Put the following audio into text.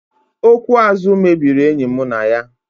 Okwu azụ mebiri enyi mụ na ya